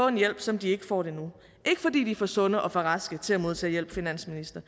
en hjælp som de ikke får nu ikke fordi de er for sunde og for raske til at modtage hjælp finansminister